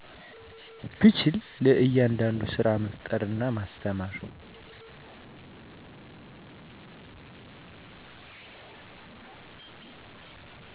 ብችል ለያዳዳዱ ስራመፍጠር እና ማስተማር